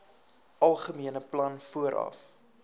algemene plan vooraf